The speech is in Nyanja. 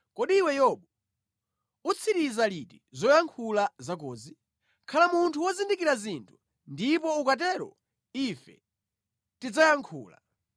“Kodi iwe Yobu utsiriza liti zoyankhula zakozi? Khala munthu wozindikira zinthu ndipo ukatero ife tidzayankhula.